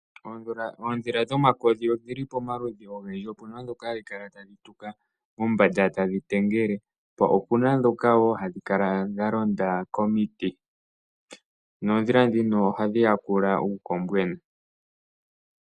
Oondhila dhomakodhi odhili pomaludhi ogendji opuna ndhoka hadhi kala tadhi tuka mombanda tadhi tengele po opuna ndhoka hadhi kala ha londa komiti noondhila ndhino ohadhi ya kula uukombwena.